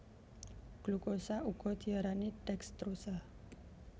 Glukosa uga diarani dekstrosa